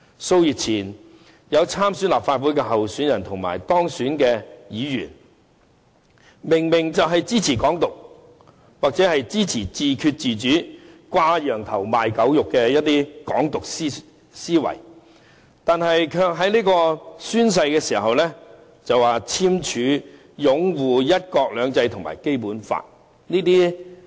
數月前，有參選立法會的候選人及當選的議員明明是支持"港獨"或自決自主等"掛羊頭賣狗肉"的"港獨"思維，卻在宣誓時簽署擁護"一國兩制"及《基本法》。